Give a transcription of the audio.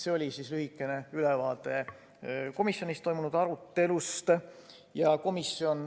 See oli lühike ülevaade komisjonis toimunud arutelust.